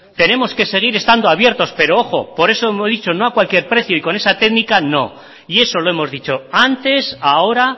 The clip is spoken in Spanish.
tenemos que seguir estando abiertos pero ojo por eso lo he dicho no a cualquier precio y con esta técnica no y eso lo hemos dicho antes ahora